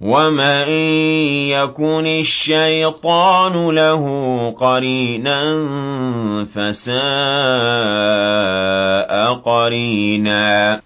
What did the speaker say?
وَمَن يَكُنِ الشَّيْطَانُ لَهُ قَرِينًا فَسَاءَ قَرِينًا